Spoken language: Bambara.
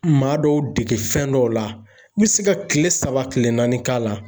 Maa dɔw dege fɛn dɔw la, n be se ka kile saba kile naani k'a la.